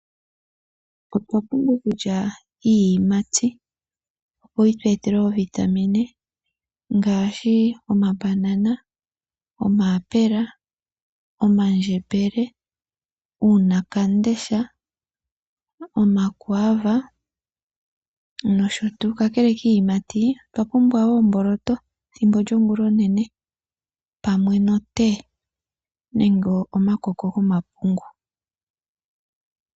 Otwa pumbwa oku lya iiyimati opo yi tu etele oovitamine ngaashi: omabanana , omayapela, omandjembele, uuna wamundesha, omakwaava nosho tuu. Kakele kiiyimati otwa pumbwa omboloto ethimbo lyongula onene pamwe notee nenge omakoko gomapungu.